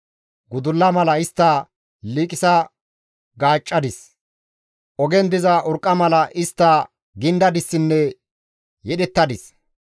Gudulla mala istta liiqisa gaaccadis; ogen diza urqqa mala istta gindadissinne yedhettadis.